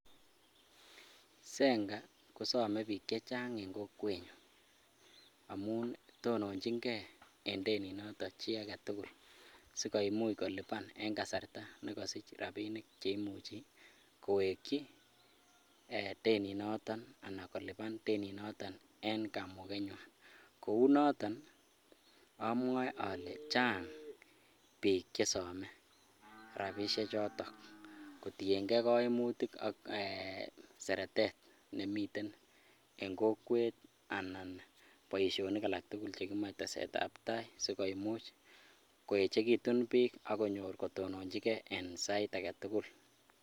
Zanka kosome biik chechang en kokwenyon amun tononching'e en teninoton chii aketukul sikomuch koliban en kasarta nekosich rabinik cheimuchi kowekyi teninoton anan koliban teninoton en kamukenywan, kounoton ii amwoe olee chang biik chesome rabishe choton kotieng'e koimutik ak seretet nemiten en kokwet anan boishonik alaktukul chekimoe tesetab taai sikomuch koechekitun biik ak konyor kotononchike en sait aketukul.